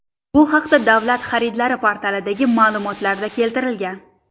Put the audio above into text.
Bu haqda Davlat xaridlari portalidagi ma’lumotlarda keltirilgan.